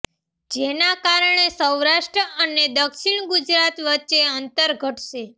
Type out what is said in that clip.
જેના કારણે સૌરાષ્ટ્ર અને દક્ષિણ ગુજરાત વચ્ચે અંતર ઘટશે